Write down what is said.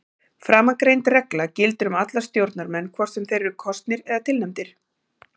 Framangreind regla gildir um alla stjórnarmenn hvort sem þeir eru kosnir eða tilnefndir.